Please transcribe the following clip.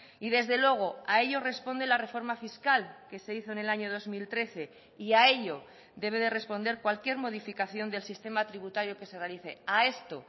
y desde luego a ello responde la reforma fiscal que se hizo en el año dos mil trece y a ello debe de responder cualquier modificación del sistema tributario que se realice a esto